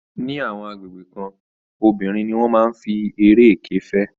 Ní àwọn agbègbè kan, obìnrin ni wọ́n máa ń fi eré ẹkẹ fẹ́